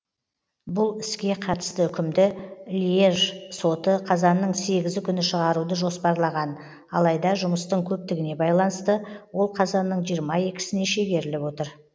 бұл іске қатысты үкімді льеж соты қазанның сегізі күні шығаруды жоспарлаған алайда жұмыстың көптігіне байланысты ол қазанның жиырма екісіне шегеріліп отыр